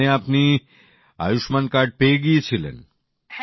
তার মানে আপনি আয়ুষ্মান কার্ড পেয়ে গেছিলেন